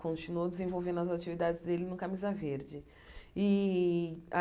Continuou desenvolvendo as atividades dele no Camisa Verde.